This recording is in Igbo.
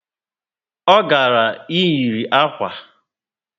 O gara iyiri akwa